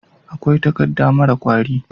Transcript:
akwai takadda mara kwari